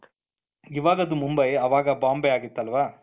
ಇವಾಗ ಅದು ಮುಂಬೈ ಅವಾಗ ಬಾಂಬೆ ಆಗಿತ್ತು ಅಲ್ವಾ,